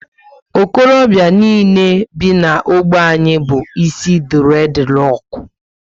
Okorobịa niile bi na ogbe anyị bu isi dured roku